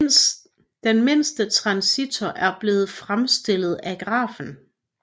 Den mindste transistor er blevet fremstillet af grafen